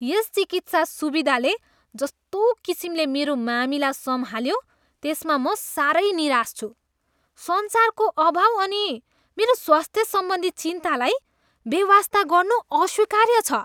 यस चिकित्सा सुविधाले जस्तो किसिमले मेरो मामिला सम्हाल्यो, त्यसमा म साह्रै निराश छु। सञ्चारको अभाव अनि मेरो स्वास्थ्यसम्बन्धी चिन्तालाई बेवास्ता गर्नु अस्वीकार्य छ।